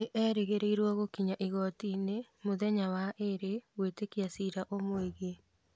Nĩerĩgĩrĩirwo gũkinyio igooti-inĩ mũthenya wa waĩrĩ gwĩtĩka cira ũmwĩigie